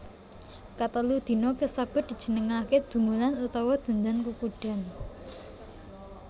Katelu dina kasebut dijenengaké Dungulan utawa Dendan Kukudan